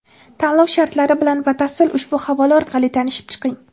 Tanlov shartlari bilan batafsil ushbu havola orqali tanishib chiqing.